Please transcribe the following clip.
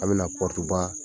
A bɛna na pɔrutuba